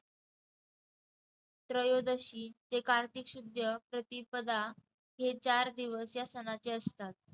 त्रयोदशी ते कार्तिक शुद्य प्रतिपदा हे चार दिवस या सणाचे असतात.